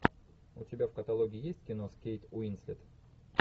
у тебя в каталоге есть кино с кейт уинслет